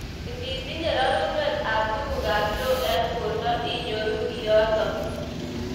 Ingitinye reruneiwek ab tukuk ab lo eng borto inyoru kiotok.